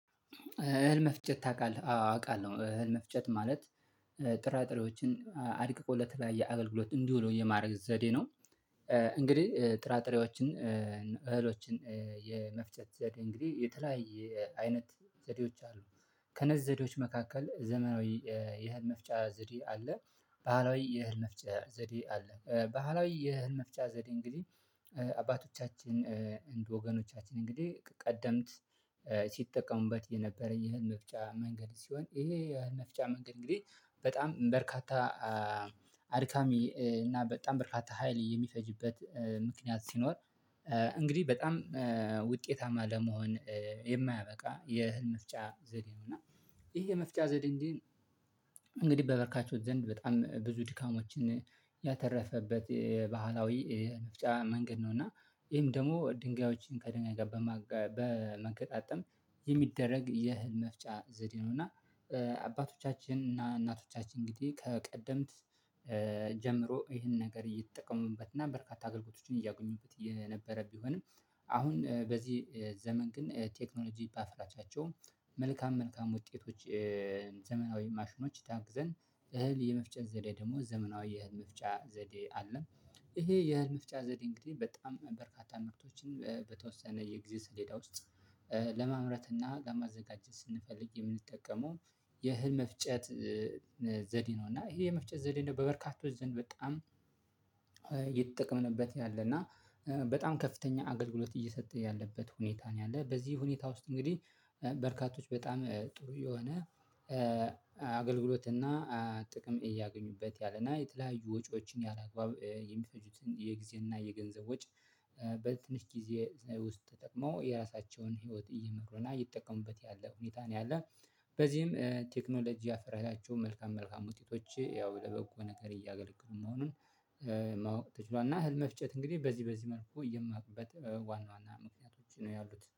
እህል መፍጨት ታውቃለህ አው አውቃለሁ እህል መፍጨት ማለት ጥራጥሬዎችን አድቅቆለት ለተለያየ የአገልግሎት እንዲውል የማድረግ ዘዴ ነው። እንግዲህ ጥራጥሬዎችን እህሎችን የመፍጨት ዘዴ እንግዲህ የተለያየ አይነት ዘዴዎች አሉ። ከነዝ ዘዴዎች መካከል ዘመናዊ የእህል መፍጫ ዘዴ አለ። ባህላዊ የእህል መፍጫ ዘዴ አለ ባህላዊ የእህል መፍጫ ዘዴ እንግዲህ አባቶቻችን እንደ ወገኖቻችን እንግዲህ ቀደምት ሲጠቀሙበት የነበረ የእህል መፍጫ መንገድ ሲሆን ይሄ የእህል መፍጫ መንገድ እንግዲህ። በጣም በርካታ አድካሚ እና በጣም በርካታ ሀይል የሚፈጅበት ምክንያት ሲኖር እንግዲህ በጣም ውጤታማ ለመሆን የማያበቃ የእህል መፍጫ ዘዴ ነው። እና ይሄ የመፍጫ ዘዴ እንግዲህ በበርካቾች ዘንድ በጣም ብዙ ድካሞችን ያተረፈበት ባህላዊ መፍጫ መንገድ ነው። እና ይሄም ደግሞ ድንጋዮችን ከድንጋይ ጋር በመገጣጠም የሚደረግ የእህል መፍጫ ዘዴ ነው። እና አባቶቻችን እና እናቶቻችን እንግዲህ ከቀደምት ጀምሮ ይሄን ነገር እየተጠቀሙበትና በርካታ አገልግሎቶችን እያጎኙበት የነበረ ቢሆንም አሁን በዚህ ዘመን ግን ቴክኖሎጂ በአፍራቻቸው መልካም መልካም ውጤቶች። ዘመናዊ ማሽኖች ታግዘን እህል የመፍጨት ዘዴ ደግሞ ዘመናዊ የእህል መፍጫ ዘዴ አለ። ይሄ የእህል መፍጫ ዘዴ እንግዲህ በጣም በርካታ ምርቶችን በተወሰነ የጊዜ ሰሌዳ ውስጥ ለማምረት እና ለማዘጋጀት ስንፈልግ የምንጠቀመው የእህል መፍጨት ዘዴ ነው። እና ይሄ የመፍጨት ዘዴ ነው በበርካቶች ዘንድ በጣም እየተጠቀምንበት ያለ እና በጣም ከፍተኛ አገልግሎት እየሰጠ ያለበት ሁኔታ ነው። ያለው በዚህ ሁኔታ ውስጥ እንግዲህ በርካቶች በጣም ጥሩ የሆነ አገልግሎት እና ጥቅም እያገኙበት ያለና የተለያዩ ወጪዎችን ያላግባብ የሚፈጁትን የጊዜ እና የገንዘብ ወጪ በትንሽ ጊዜ ውስጥ ተጠቅመው የራሳቸውን ህይወት እየመክሮና እየተጠቀሙበት ያለ ሁኔታ ነው ያለ። በዚህም ቴክኖሎጂ ያፍራቻቸው መልካም መልካም ውጤቶች ያው ለበጎ ነገር እያገለገሉ መሆኑን ማዋቅ ተችሏል። እና እህል መፍጨት እንግዲህ በዚህ በዚህ መልኩ የማቅበት ዋና ዋና ምክንያቶች ነው ያሉት